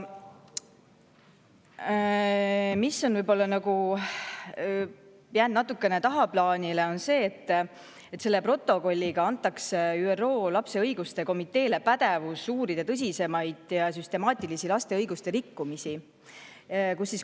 Mis on võib-olla jäänud natukene tagaplaanile, on see, et selle protokolliga antakse ÜRO lapse õiguste komiteele pädevus uurida tõsisemaid süstemaatilisi laste õiguste rikkumisi.